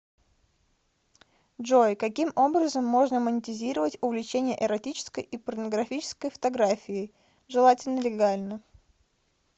джой каким образом можно монетизировать увлечение эротической и порнографической фотографией желательно легально